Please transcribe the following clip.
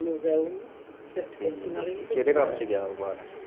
ਠੀਕ ਆ ਕਿਹੜੇ ਕੰਮ ਚ ਗਿਆ ਓਹ ਬਾਹਰ